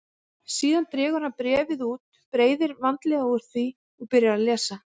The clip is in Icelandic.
Síðan dregur hann bréfið út, breiðir vandlega úr því og byrjar að lesa.